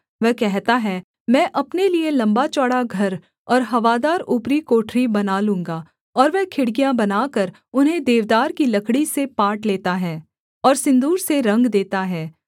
वह कहता है मैं अपने लिये लम्बाचौड़ा घर और हवादार ऊपरी कोठरी बना लूँगा और वह खिड़कियाँ बनाकर उन्हें देवदार की लकड़ी से पाट लेता है और सिन्दूर से रंग देता है